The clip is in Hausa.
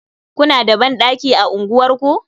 Kuna da dandaki a unguwarku?